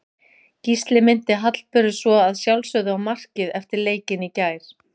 Gísli minnti Hallberu svo að sjálfsögðu á markið eftir leikinn í gær.